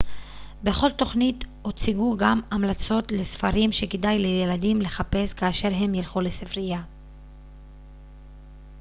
בכל תכנית הוצגו גם המלצות לספרים שכדאי לילדים לחפש כאשר הם ילכו לספריה